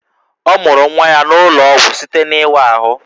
Ọ mụrụ nwa ya n'ụlọ ọgwụ site n'ịwa ahụ